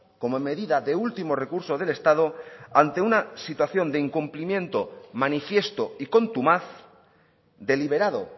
como medida de último recurso del estado ante una situación de incumplimiento manifiesto y contumaz deliberado